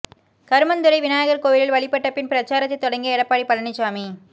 கருமந்துறை விநாயகர் கோவிலில் வழிபட்ட பின் பிரச்சாரத்தை தொடங்கிய எடப்பாடி பழனிசாமி